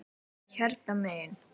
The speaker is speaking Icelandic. Hérna megin.